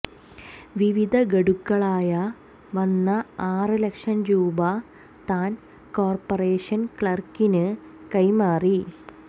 വിവിധ ഗഢുക്കളായ വന്ന ആറ് ലക്ഷം രൂപ താൻ കോർപ്പറേഷൻ ക്ലർക്കിന് കൈമാറി